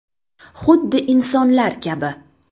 Xuddi insonlar kabi.